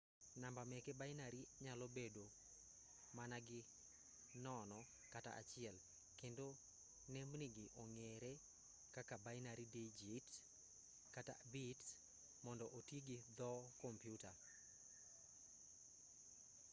namba meke binary nyalo bedo managi 0 kata 1 kendo nembnigi ong'ere kaka binary dijits- kata bits mond otigi dhoo kompyuta.